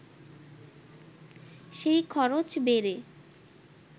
সেই খরচ বেড়ে